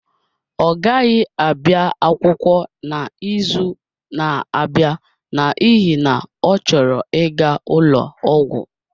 Ọ gaghị abịa akwụkwọ n'izu na-abịa n'ihi na ọ chọrọ ịga ụlọ ọgwụ